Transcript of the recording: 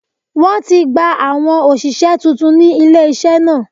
Wọ́n ti ń gba àwọn òṣìṣẹ́ tuntun ní ilé-iṣẹ́ náà